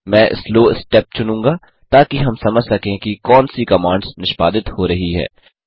मैं slow step चुनूँगा ताकि हम समझ सकें कि कौन सी कमांड्स निष्पादित हो रही हैं